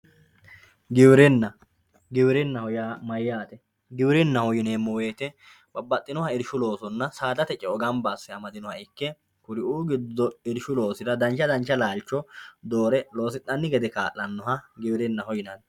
Giwirinna, giwirinaho yaa mayate giwirinaho yineemo woyite babaxinoha irishu loosonna saadatr ce'o gamba ase amadinoha ikke, kuriuu gido irishu loosira dancha danch laalicho doore loosinanni gede kaalanoha giwirinaho yinanni.